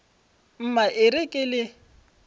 mma e re ke le